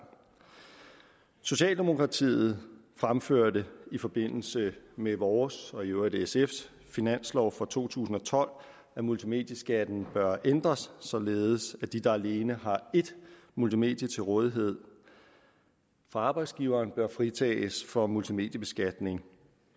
socialdemokratiet fremførte i forbindelse med vores og i øvrigt sfs finanslov for to tusind og tolv at multimedieskatten bør ændres således at de der alene har et multimedie til rådighed fra arbejdsgiveren bør fritages for multimediebeskatning